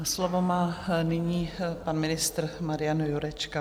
A slovo má nyní pan ministr Marian Jurečka.